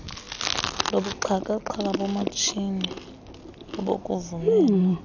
lobuxhakaxhaka bomatshini obukuvumela